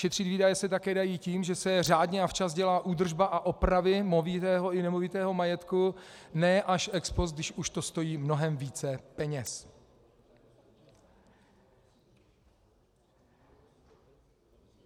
Šetřit výdaje se také dá tím, že se řádně a včas dělá údržba a opravy movitého i nemovitého majetku, ne až ex post, když už to stojí mnohem více peněz.